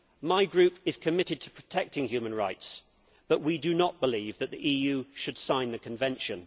My group is committed to protecting human rights, but we do not believe that the EU should sign the Convention.